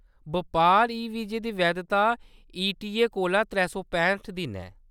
बपार ई-वीज़े दी वैधता ईटीए कोला त्रै सौ पैंह्ट दिन ऐ।